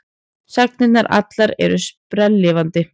Sagnirnar allar eru sprelllifandi.